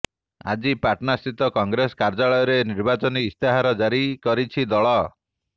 ଆଜି ପାଟନା ସ୍ଥିତି କଂଗ୍ରେସ କାର୍ୟ୍ୟାଳୟରେ ନିର୍ବାଚନୀ ଇସ୍ତାହାର ଜାରି କରିଛି ଦଳ